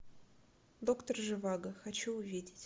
доктор живаго хочу увидеть